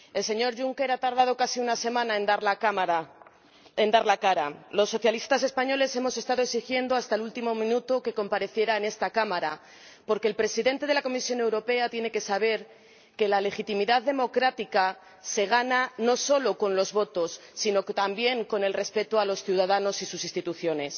Señora Presidenta, el señor Juncker ha tardado casi una semana en dar la cara. Los socialistas españoles hemos estado exigiendo hasta el último minuto que comparezca en esta Cámara, porque el Presidente de la Comisión Europea tiene que saber que la legitimidad democrática se gana no solo con los votos, sino también con el respeto a los ciudadanos y sus instituciones.